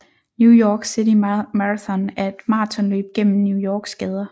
New York City Marathon er et maratonløb gennem New Yorks gader